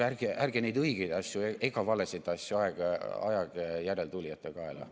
Aga ärge neid õigeid asju ega valesid asju ajage järeltulijate kaela.